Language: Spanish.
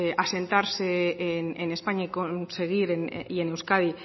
asentarse en españa y en euskadi